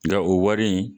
Nka o wari in